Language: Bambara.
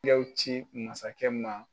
Y'aw ci masakɛ ma.